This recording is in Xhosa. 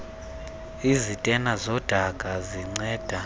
izitena zodaka zinceda